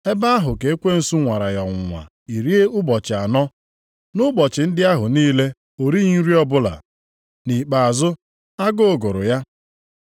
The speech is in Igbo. Ebe ahụ ka ekwensu nwara ya ọnwụnwa iri ụbọchị anọ. Nʼụbọchị ndị ahụ niile o righị nri ọbụla. Nʼikpeazụ agụụ gụrụ ya.